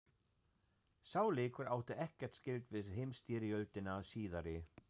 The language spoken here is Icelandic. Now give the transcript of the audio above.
Sá leikur átti ekkert skylt við heimsstyrjöldina síðari.